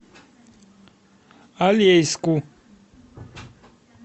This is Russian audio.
алейску